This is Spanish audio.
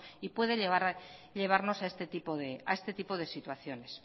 y puede llevarnos a este tipo de situaciones